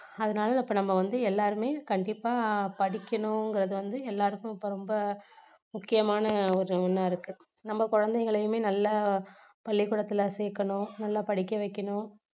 அதனால இப்போ நம்ம வந்து எல்லாருமே கண்டிப்பா படிக்கணுங்குறது வந்து எல்லாருக்கும் இப்போ ரொம்ப முக்கியமான ஒரு ஒண்ணா இருக்கு நம்ம குழந்தைகளைமே நல்லா பள்ளிக்கூடத்துல சேர்க்கணும் நல்லா படிக்க வைக்கணும்